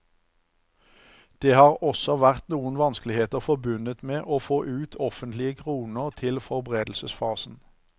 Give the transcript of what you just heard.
Det har også vært noen vanskeligheter forbundet med å få ut offentlige kroner til forberedelsesfasen.